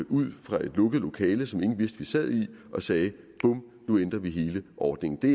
ud fra et lukket lokale som ingen vidste vi sad i og sagde bum nu ændrer vi hele ordningen det